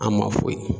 An ma foyi